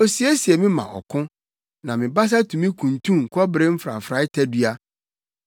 Osiesie me ma ɔko, na me basa tumi kuntun kɔbere mfrafrae tadua.